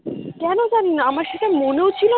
কেন জানি না আমার সেটা মনেও ছিল